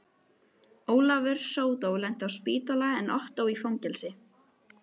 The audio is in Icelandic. Ólafur sódó lenti á spítala en Ottó í fangelsi.